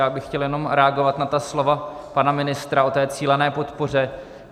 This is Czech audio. Já bych chtěl jenom reagovat na ta slova pana ministra o té cílené podpoře.